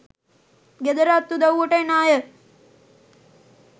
ගෙදර අත් උදව්වට එන අය